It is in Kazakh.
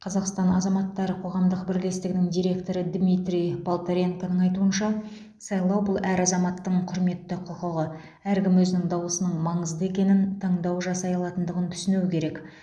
қазақстан азаматтары қоғамдық бірлестігінің директоры дмитрий полторенконың айтуынша сайлау бұл әр азаматтың құрметті құқығы әркім өзінің дауысының маңызды екенін таңдау жасай алатындығын түсінуі керек